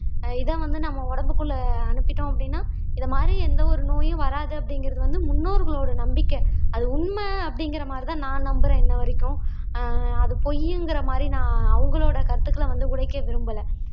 இத வந்து நம்ம உடம்புக்குள்ள அனுப்பிட்டோம் அப்படீன்னா இது மாதிரி எந்த ஒரு நோயும் வராது அப்படிங்கறது வந்து முன்னோர்களோட நம்பிக்கை அது உண்மை அப்படிங்கிற மாதிரி தான் நான் நம்புறேன் இன்னவரைக்கும் ஆஹ் அது பொய்யிங்கிற மாதிரி நான் அவங்களோட கருத்துக்களை வந்து உடைக்க விரும்பல